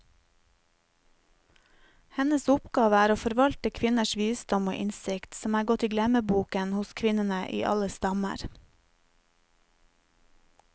Hennes oppgave er å forvalte kvinners visdom og innsikt, som er gått i glemmeboken hos kvinnene i alle stammer.